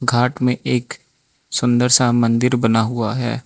घाट में एक सुंदर सा मंदिर बना हुआ है।